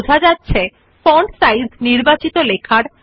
you see that the font of the selected text changes